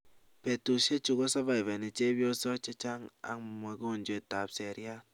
Betusiechu koservaivani chepyosok chechang ak mogonjwet ap seriat